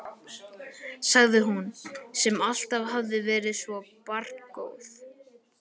sagði hún, sem alltaf hafði verið svo barngóð.